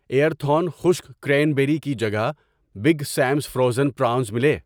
ایرتھون خشک cranberry کی جگہ بگ سیمس فروزن پرانز ملے۔